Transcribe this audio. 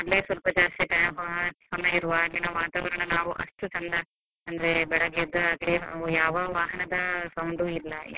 ಅಲ್ಲೇ ಸ್ವಲ್ಪ ಜಾಸ್ತಿ time ಸಮಯ ಇರ್ವ ಅಲ್ಲಿನ ವಾತಾವರಣ ನಾವು ಅಷ್ಟು ಚಂದ ಅಂದ್ರೆ ಬೆಳಿಗ್ಗೆ ಎದ್ದಾಗ ಯಾವ ವಾಹನದ sound ಇಲ್ಲ.